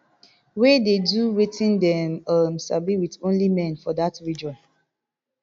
wey dey do wetin dem um sabi wit only men for dat region